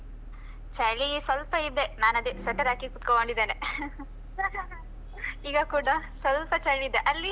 ಚಳಿ ಸ್ವಲ್ಪ ಇದೆ ನನ್ ಅದೆ sweater ಹಾಕಿ ಕುತ್ಕೊಂಡಿದ್ದೇನೆ ಈಗ ಕೂಡ ಸ್ವಲ್ಪ ಚಳಿಯಿದೆ ಅಲ್ಲಿ?